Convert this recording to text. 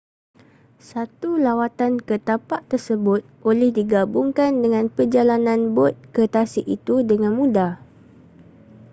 satu lawatan ke tapak tersebut boleh digabungkan dengan perjalanan bot ke tasik itu dengan mudah